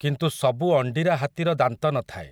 କିନ୍ତୁ ସବୁ ଅଣ୍ଡିରା ହାତୀର ଦାନ୍ତ ନ ଥାଏ ।